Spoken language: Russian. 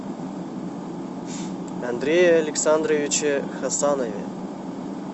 андрее александровиче хасанове